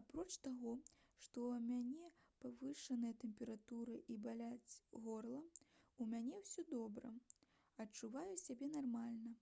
апроч таго што ў мяне павышаная тэмпература і баліць горла у мяне ўсё добра адчуваю сябе нармальна